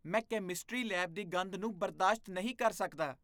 ਮੈਂ chemistry lab ਦੀ ਗੰਧ ਨੂੰ ਬਰਦਾਸ਼ਤ ਨਹੀਂ ਕਰ ਸਕਦਾ।